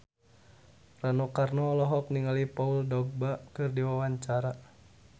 Rano Karno olohok ningali Paul Dogba keur diwawancara